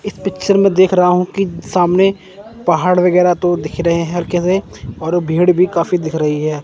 इस पिक्चर में देख रहा हूं कि सामने पहाड़ वगैरह तो दिख रहे हैं हल्के से और भीड़ भी काफी दिख रही है।